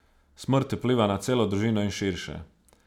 Smrt vpliva na celo družino in širše.